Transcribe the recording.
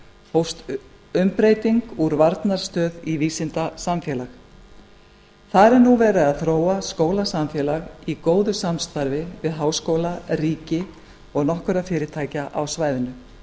hófst umbreyting úr varnarstöð í vísindasamfélag þar er nú verið að þróa skólasamfélag í góðu samstarfi við háskóla ríki og nokkur fyrirtæki á svæðinu